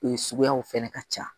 Ee suguyaw fɛnɛ ka ca